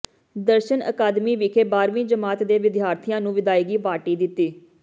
ਦਰਸ਼ਨ ਅਕਾਦਮੀ ਵਿਖੇ ਬਾਰ੍ਹਵੀਂ ਜਮਾਤ ਦੇ ਵਿਦਿਆਰਥੀਆਂ ਨੂੰ ਵਿਦਾਇਗੀ ਪਾਰਟੀ ਦਿੱਤੀ